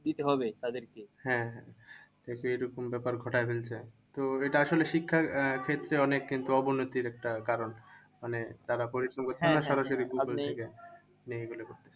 হ্যাঁ হ্যাঁ এইরকম ব্যাপার ঘটায় ফেলছে। তো এটা আসলে শিক্ষার আহ ক্ষেত্রে অনেক কিন্তু অবনতির একটা কারণ। মানে তারা পরিশ্রম সরাসরি গুগুল থেকে নিয়ে বলে